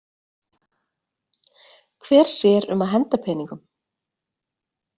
Hver sér um að henda peningum?